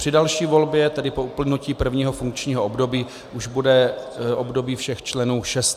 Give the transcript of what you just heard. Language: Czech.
Při další volbě, tedy po uplynutí prvního funkčního období, už bude období všech členů šest let.